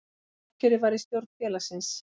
Sjálfkjörið var í stjórn félagsins